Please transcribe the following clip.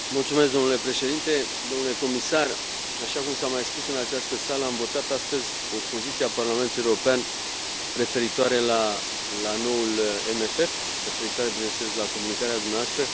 Domnule președinte, domnule comisar, așa cum s a mai spus în această sală, am votat astăzi o poziție a Parlamentului European referitoare la noul CFM, referitoare, bineînțeles, la comunicarea dumneavoastră.